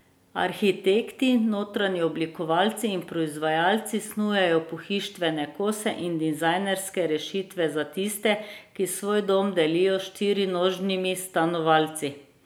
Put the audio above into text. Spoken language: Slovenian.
Arhitekti, notranji oblikovalci in proizvajalci snujejo pohištvene kose in dizajnerske rešitve za tiste, ki svoj dom delijo s štirinožnimi stanovalci.